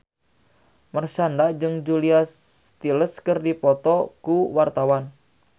Marshanda jeung Julia Stiles keur dipoto ku wartawan